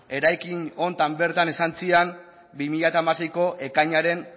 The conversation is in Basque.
eraikin honetan bertan esan ziren bi mila hamaseiko ekainaren